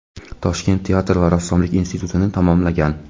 Toshkent teatr va rassomlik institutini tamomlagan.